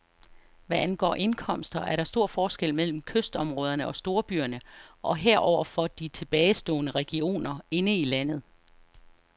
Hvad angår indkomster, er der stor forskel mellem kystområderne og storbyerne og heroverfor de tilbagestående regioner inde i landet.